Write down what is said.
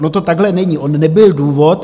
Ono to takhle není, on nebyl důvod.